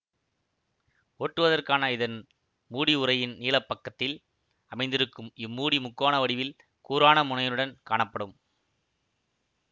ஓட்டுவதற்கான இதன் மூடி உறையின் நீளப் பக்கத்தில் அமைந்திருக்கும் இம்மூடி முக்கோண வடிவில் கூரான முனையுடன் காணப்படும்